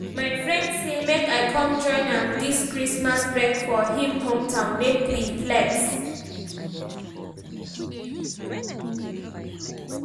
my friend say make I come join am dis christmas break for him hometown make we flex